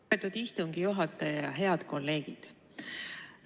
Lugupeetud istungi juhataja ja head kolleegid!